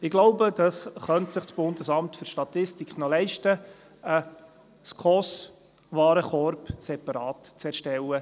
Ich glaube, das BFS könnte es sich noch leisten, einen SKOS-Warenkorb separat zu erstellen.